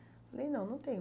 Falei, não, não tenho.